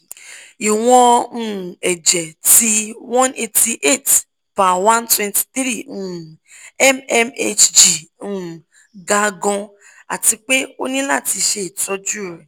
iwọn um ẹjẹ ti one hundred eighty eight / one hundred twenty three um mmhg um ga gaan ati pe o ni lati ṣe itọju re